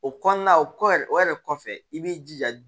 O kɔnɔna o kɔ yɛrɛ o yɛrɛ kɔfɛ i b'i jija